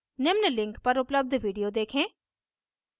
निम्न link पर उपलब्ध video देखें